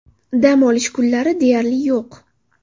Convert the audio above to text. Dam olish kunlari deyarli yo‘q.